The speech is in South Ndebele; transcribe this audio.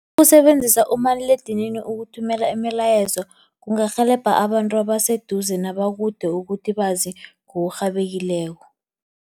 Ukusebenzisa umaliledinini ukuthumela imilayezo, kungarhelebha abantu abaseduze nabakude ukuthi bazi ngokurhabekileko.